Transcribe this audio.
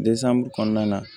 kɔnɔna na